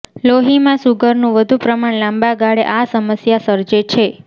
લોહી માં સુગરનું વધુ પ્રમાણ લાંબા ગાળે આ સમસ્યા સર્જે છે